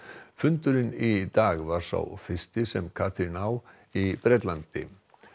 fundurinn í dag var sá fyrsti sem Katrín á í Bretlandi